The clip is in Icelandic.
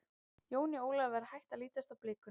Jóni Ólafi var hætt að lítast á blikuna.